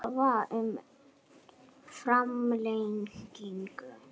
Krafa um framlengingu